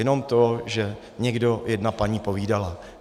Jenom to, že někde jedna paní povídala.